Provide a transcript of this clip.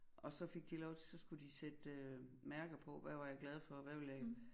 Og så fik de lov til så skulle de sætte øh mærker på hvad var jeg for hvad ville jeg ikke